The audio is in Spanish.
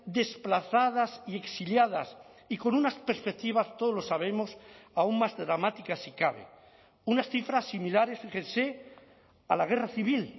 desplazadas y exiliadas y con unas perspectivas todos lo sabemos aún más dramáticas sí cabe unas cifras similares fíjense a la guerra civil